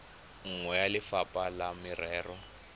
nngwe ya lefapha la merero